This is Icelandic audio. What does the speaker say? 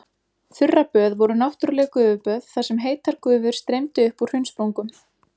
Þurraböð voru náttúrleg gufuböð þar sem heitar gufur streymdu upp úr hraunsprungum.